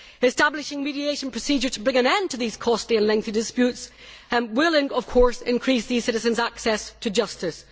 Establishing a mediation procedure to bring an end to these costly and lengthy disputes will, of course, increase these citizens' access to justice.